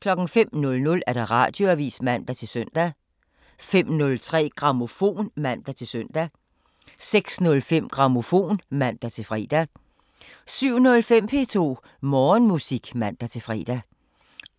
05:00: Radioavisen (man-søn) 05:03: Grammofon (man-søn) 06:05: Grammofon (man-fre) 07:05: P2 Morgenmusik (man-fre)